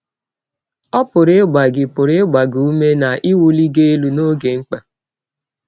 Ọ pụrụ ịgba gị pụrụ ịgba gị ụme na iwụli gị elụ n’ọge mkpa.